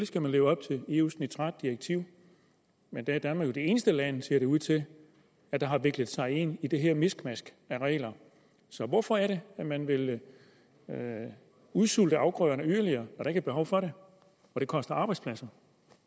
skal man leve op til eus nitratdirektiv men der er danmark jo det eneste land ser det ud til der har viklet sig ind i det her miskmask af regler så hvorfor er det at man vil udsulte afgrøderne yderligere når der ikke er behov for det og det koster arbejdspladser